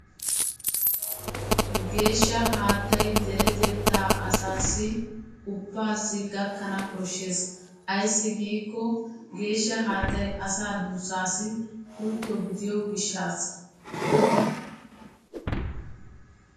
Geeshsha haattay deretettaa asaassi ubaassi gakkana koshshees. ayssi giikko geeshsha haattay asaa duussaassi pultto gidiyo gishaassa.